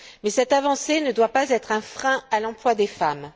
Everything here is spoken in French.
Mais cette avancée ne doit pas être un frein à l'emploi des femmes.